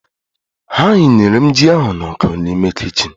A hịnyere m ji ahụ n'ọku n'ime kichin